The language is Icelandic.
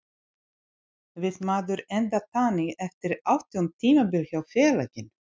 Vill maður enda þannig eftir átján tímabil hjá félaginu?